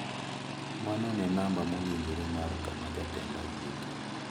Mano ne namba mowinjore mar kama jatenda wuoke.